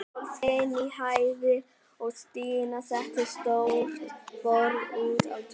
Sól skein í heiði og Stína setti stórt borð út á tún.